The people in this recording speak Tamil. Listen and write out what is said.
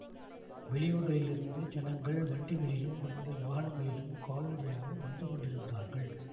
வெளியூர்களிலிருந்து ஜனங்கள் வண்டிகளிலும் பலவித வாகனங்களிலும் கால்நடையாகவும் வந்து கொண்டிருந்தார்கள்